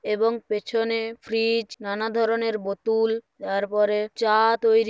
এবং পেছনে ফ্রিজ নানা ধরনের বতুল। তারপরে চা তৈরি--